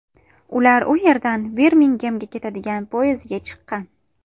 Ular u yerdan Birmingemga ketadigan poyezdga chiqqan.